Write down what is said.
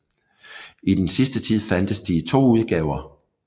I den sidste tid fandtes de i to udgaver